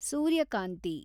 ಸೂರ್ಯಕಾಂತಿ